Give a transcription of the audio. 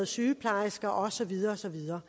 sygeplejersker og så videre og så videre